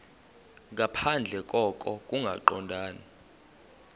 nangaphandle koko kungaqondani